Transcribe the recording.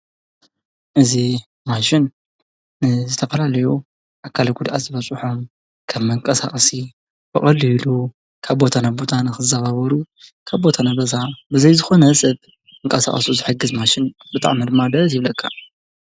እዚ ማሽን ዝተፈላለዩ ኣካላዊ ጉድኣት ዝበፀሖም ከም መንቀሳቀሲ ብቀሊሉ ካብ ቦታ ናብ ቦታ ንክዛዋወሩ ካብ ቦታ ናብ ገዛ ብዘይ ዝኮነ ሰብ ክቃሳቀሱ ዝሕግዝ ማሽን ብጣዕሚ ድማ ደስ ይብለካ።